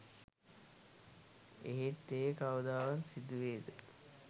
එහෙත් එය කවදා සිදුවේද